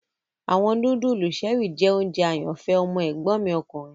Awọn nudulu Cherie jẹ ounjẹ ayanfẹ ọmọ egbon mi okunrin